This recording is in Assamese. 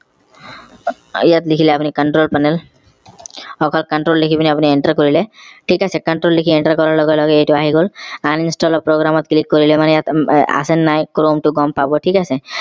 ইয়াত লিখিলে আপুনি control panel control লিখি আপুনি enter কৰিলে থিক আছে control লিখি enter কৰাৰ লগে লগে এইটো আহি গল uninstall program ত click কৰিলে মানে ইয়াত আছে নাই chrome টো গম পাব থিক আছে